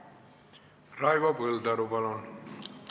Raivo Põldaru, palun!